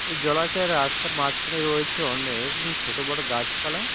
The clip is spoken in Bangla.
এই জলাশয়ের রাস্তার মাঝখানে রয়েছে অনেক ছোট বড়ো গাছপালা।